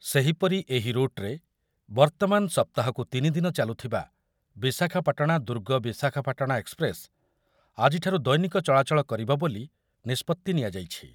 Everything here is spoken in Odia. ସେହିପରି ଏହି ରୁଟ୍‌ରେ ବର୍ତ୍ତମାନ ସପ୍ତାହକୁ ତିନିଦିନ ଚାଲୁଥିବା ବିଶାଖାପାଟଣା ଦୁର୍ଗ ବିଶାଖାପାଟଣା ଏକ୍ସପ୍ରେସ୍‌ ଆଜିଠାରୁ ଦୈନିକ ଚଳାଚଳ କରିବ ବୋଲି ନିଷ୍ପତ୍ତି ନିଆଯାଇଛି।